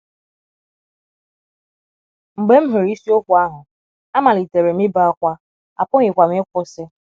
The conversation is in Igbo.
Mgbe m hụrụ isiokwu ahụ, amalitere m ibe ákwá, apụghịkwa m ịkwụsị.